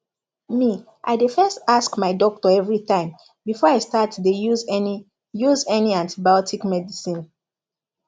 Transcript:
me i dey first ask my doctor everi time before i start dey use any use any antibiotic medicine